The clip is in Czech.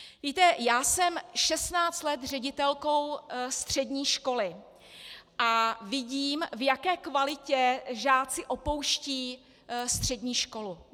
Víte, já jsem 16 let ředitelkou střední školy a vidím, v jaké kvalitě žáci opouštějí střední školu.